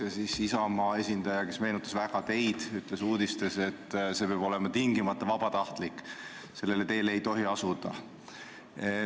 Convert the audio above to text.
Ja siis Isamaa esindaja, kes meenutas väga teid, ütles uudistes, et see peab tingimata olema vabatahtlik, sellele teele ei tohi astuda.